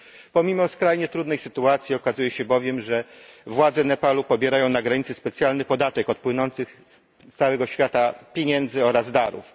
Pomimo skrajnie trudnej sytuacji okazuje się bowiem, że władze Nepalu pobierają na granicy specjalny podatek od płynących z całego świata pieniędzy oraz darów.